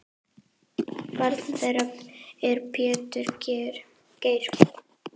Barn þeirra er Pétur Geir.